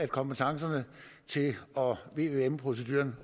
kompetencerne til vvm proceduren